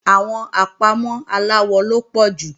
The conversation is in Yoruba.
Àwọn àpámọ́ aláwọ ló pọ̀ jù